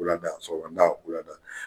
Wulada sɔgɔmada wulada